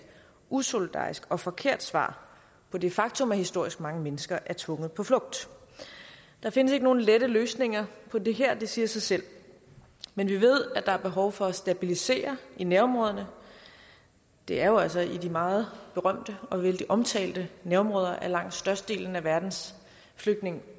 usolidarisk og forkert svar på det faktum at historisk mange mennesker er tvunget på flugt der findes ikke nogen lette løsninger på det her det siger sig selv men vi ved at der er behov for at stabilisere i nærområderne det er jo altså i de meget berømte og vældig omtalte nærområder at langt størstedelen af verdens flygtninge